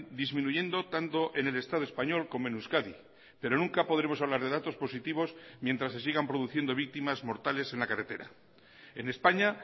disminuyendo tanto en el estado español como en euskadi pero nunca podremos hablar de datos positivos mientras se sigan produciendo víctimas mortales en la carretera en españa